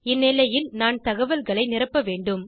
இந்நிலையில் நான் தகவல்களை நிரப்ப வேண்டும்